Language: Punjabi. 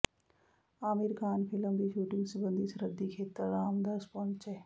ਆਮਿਰ ਖਾਨ ਫਿਲਮ ਦੀ ਸ਼ੂਟਿੰਗ ਸਬੰਧੀ ਸਰਹੱਦੀ ਖੇਤਰ ਰਮਦਾਸ ਪਹੁੰਚੇ